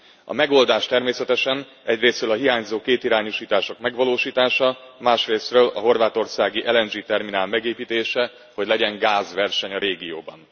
A megoldás természetesen egyrészről a hiányzó kétirányúsítások megvalósítása, másrészről a horvátországi LNG terminál megépítése, hogy legyen gázverseny a régióban.